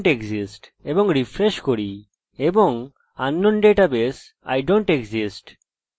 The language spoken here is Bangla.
এইরকম এরর থাকা লাভদায়ক এবং রিপোর্ট করার জন্য ইউসারস পেতে পারি যদি ওটি না থাকে